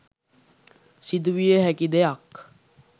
සිදුවිය හැකි දෙයක්.